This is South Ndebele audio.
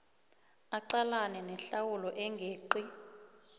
aqalane nehlawulo engeqi